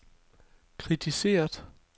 kritiseret